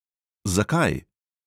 Zakaj?